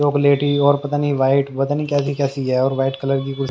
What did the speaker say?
चॉकलेटी और पता नहीं वाइट पता नहीं कैसी कैसी है और वाइट कलर की कुछ।